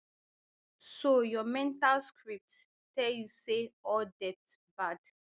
so your mental script tell you say all debt bad